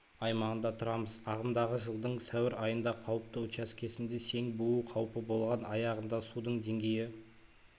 аймағында тұрамыз ағымдағы жылдың сәуір айында қауіпті учаскесінде сең буу қауіпі болған аяғында судың деңгейі